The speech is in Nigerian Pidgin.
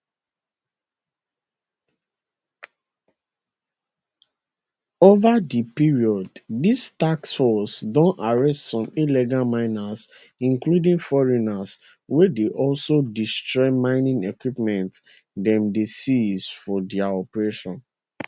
ova di period dis task force don arrest some illegal miners including foreigners wey dey also destroy mining equipment dem dey seize for dia operations